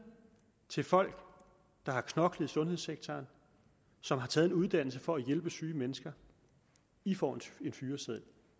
til folk der har knoklet i sundhedssektoren som har taget en uddannelse for at hjælpe syge mennesker i får en fyreseddel